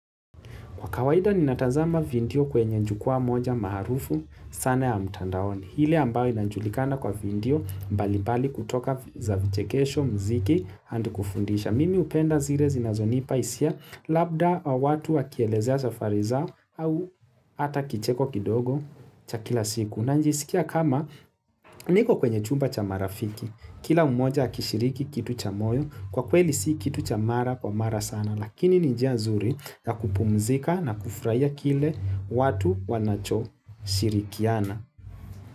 Kwa kawaida ni natazama video kwenye jukwa moja maarufu sana ya mtandaoni. Ile ambayo inajulikana kwa video mbali mbali kutoka za vichekesho, mziki, hadi kufundisha. Mimi hupenda zile zinazonipa hisia labda watu wakielezea safari za au hata kicheko kidogo cha kila siku. Najisikia kama niko kwenye chumba cha marafiki. Kila mmoja akishiriki kitu cha moyo, kwa kweli si kitu cha mara kwa mara sana. Lakini ni njia nzuri ya kupumzika na kufurahia kile watu wanachoshirikiana.